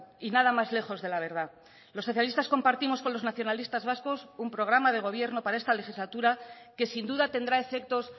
y nada más lejos de la verdad los socialistas compartimos con los nacionalistas vascos un programa de gobierno para esta legislatura que sin duda tendrá efectos